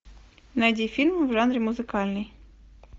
найди фильм в жанре музыкальный